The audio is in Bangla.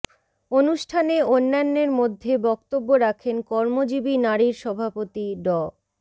অনুষ্ঠানে অন্যান্যের মধ্যে বক্তব্য রাখেন কর্মজীবী নারীর সভাপতি ড